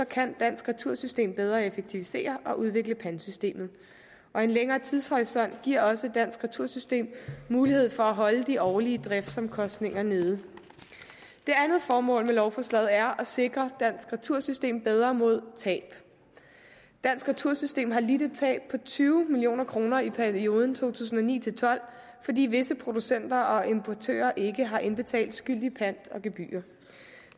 kan dansk retursystem bedre effektivisere og udvikle pantsystemet og en længere tidshorisont giver også dansk retursystem mulighed for at holde de årlige driftsomkostninger nede det andet formål med lovforslaget er at sikre dansk retursystem bedre mod tab dansk retursystem har lidt et tab på tyve million kroner i perioden to tusind og ni til tolv fordi visse producenter og importører ikke har indbetalt skyldig pant og gebyrer